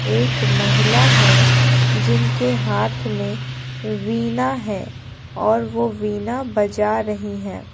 एक महिला है जिनके हाथ में वीना है और वह वीना बजा रही हैं।